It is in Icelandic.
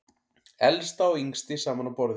Elsta og yngsti saman á borði